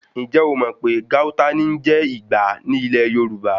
Ǹjẹ̀ o mò pé Gauta ní ń jẹ́ Ìgbá ní ilẹ̀ Yorùbá?